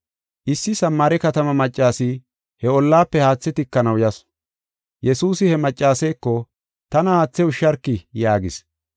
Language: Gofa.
Issi Samaare katamaa maccas he ollaafe haathe tikanaw yasu. Yesuusi he maccaseeko, “Tana haathe ushsharki” yaagis.